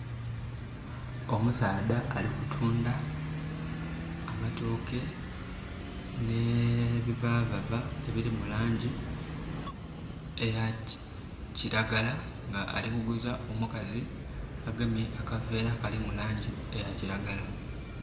Omusaadha ali kutunda amatooke ne bivavava ebirimu langi eya kiragala nga alikuguza omukazi agemye akaveera kalimu langi eya kiragala